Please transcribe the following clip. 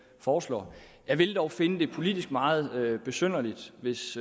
foreslår jeg ville dog finde det politisk meget besynderligt hvis